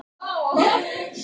Thea, hvenær kemur sexan?